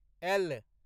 L